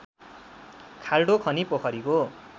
खाल्डो खनी पोखरीको